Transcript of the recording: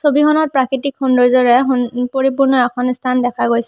ছবিখনত প্ৰাকৃতিক সৌন্দৰ্য্যৰে এখ উম পৰিপূৰ্ণ এখন স্থান দেখা গৈছে।